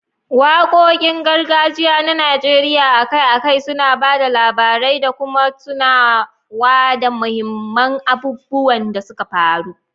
Wakokin gargajiya na Najeriya akai-akai suna ba da labarai da kuma tunawa da muhimman abubuwan da suka faru.